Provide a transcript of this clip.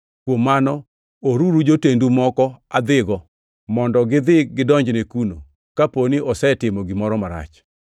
kuom mano, oruru jotendu moko adhigo mondo gidhi gidonjne kuno, kaponi osetimo gimoro marach.”